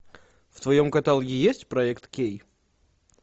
в твоем каталоге есть проект кей